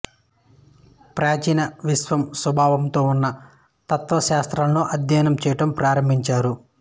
ప్రాచీన విశ్వం స్వభావంతో ఉన్న తత్వశాస్త్రంను అధ్యయనం చేయటం ఆరంభించారు